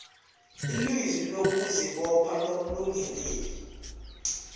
ilizwi lokuzibopha lomlungeleli